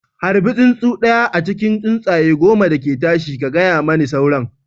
Harbi tsuntsu ɗaya a cikin tsuntsaye goma da ke tashi, ka gaya mani sauran